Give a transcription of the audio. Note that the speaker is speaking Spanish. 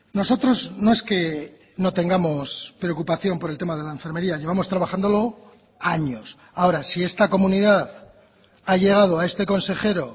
nosotros no es que no tengamos preocupación por el tema de la enfermería llevamos trabajándolo años ahora si esta comunidad ha llegado a este consejero